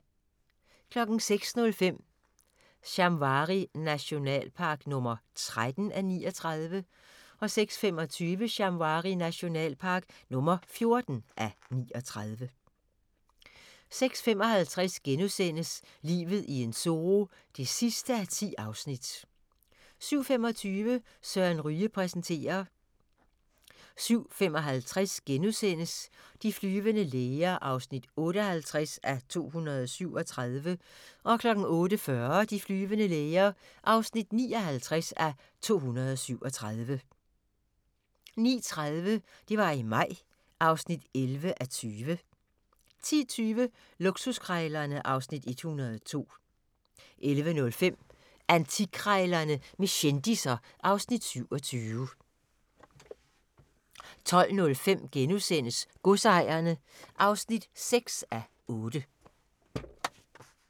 06:05: Shamwari nationalpark (13:39) 06:25: Shamwari nationalpark (14:39) 06:55: Livet i en zoo (10:10)* 07:25: Søren Ryge præsenterer 07:55: De flyvende læger (58:237)* 08:40: De flyvende læger (59:237) 09:30: Det var i maj (11:20) 10:20: Luksuskrejlerne (Afs. 102) 11:05: Antikkrejlerne med kendisser (Afs. 27) 12:05: Godsejerne (6:8)*